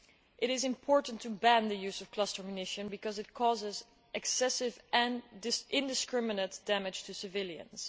It is important to ban the use of cluster munitions because they cause excessive and indiscriminate damage to civilians.